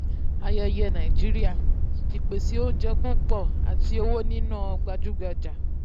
ayẹyẹ nàìjíríà ìpèsè oúnjẹ púpọ̀ àti owó níná gbajúgbajà.